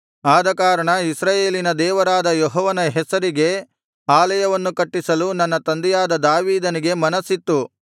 ಆದಕಾರಣ ಇಸ್ರಾಯೇಲಿನ ದೇವರಾದ ಯೆಹೋವನ ಹೆಸರಿಗೆ ಆಲಯವನ್ನು ಕಟ್ಟಿಸಲು ನನ್ನ ತಂದೆಯಾದ ದಾವೀದನಿಗೆ ಮನಸ್ಸಿತ್ತು